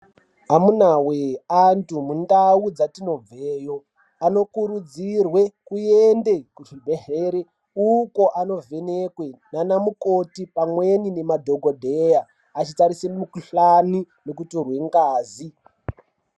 Amunawe antu mundau dzatinobveyo anokurudzirwe kuyende kuzvibhedhlere uko anovhenekwe nanamukoti pamweni nemadhokodheya achitarise mukhuhlani nekutorwe ngazi.